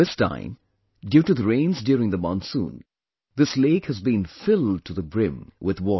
This time due to the rains during the monsoon, this lake has been filled to the brim with water